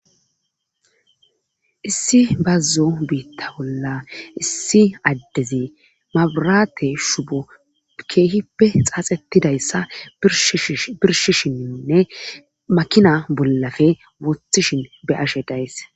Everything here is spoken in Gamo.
issi bazzo biitta bolla issi addezi mabrate shubo keehippe xaaxetidayssa birshishininne makina bollafe wothishin be ashe days